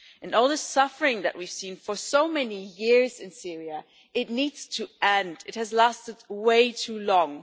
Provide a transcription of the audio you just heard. All the suffering that we've seen for so many years in Syria needs to end. It has lasted way too long.